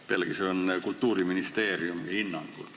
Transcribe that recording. Pealegi see on Kultuuriministeeriumi hinnang.